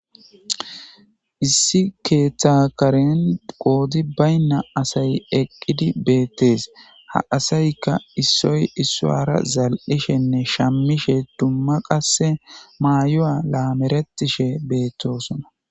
issi keethakaren qoodi baynna asay eqqidi beettes ha asaykka issoy issuara zal7ishenne shammishe dumma qasse maayo7a laameretishe beettosona